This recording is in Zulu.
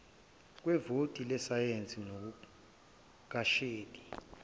kwevoti lesayensi ngokuvakashela